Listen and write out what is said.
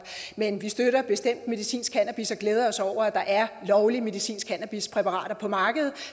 men vi støtter bestemt medicinsk cannabis og glæder os over at der er lovlige medicinske cannabispræparater på markedet